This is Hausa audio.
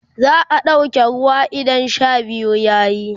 za'a ɗauke ruwa idan Sha biyu yayi